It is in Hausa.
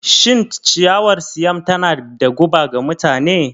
Shin ciyawar Siam tana da guba ga mutane?